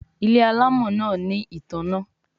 Ile alamò náa ní ìtanná